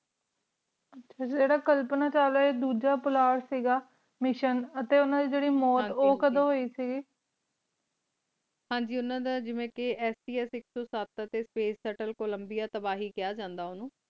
ਆਚਾ ਜੇਰਾ ਕਲਪਨਾ ਵਿਚ ਦੂਜਾ ਪੋਲਟ ਕ ਗਾ ਮਿਸ਼ਿਓਂ ਟੀ ਓਨਾ ਦੀ ਜਰੀ ਮੂਰਤ ਕ ਹਨ ਜੀ ਕਿਡੋ ਹੋਈ ਕ ਹਨ ਜੀ ਓਨਾ ਦਾ ਜੇਵੇ ਕ ਸਤਸ ਆਇਕ ਸੋ ਸਾਥ ਆ ਟੀ ਫਾਚੇਸੇਤਾਲ ਕੋਲੰਬਿਆ ਤਬਾਹੀ ਕਹਾ ਜਾਂਦਾ ਓਨੁ